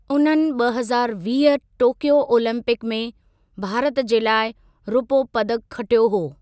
उन्हनि ॿ हज़ारु वीह टोक्यो ओलंपिक में भारत जे लाइ रुपो पदकु खटियो हो।